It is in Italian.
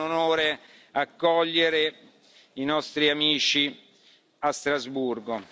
È un onore accogliere i nostri amici a Strasburgo.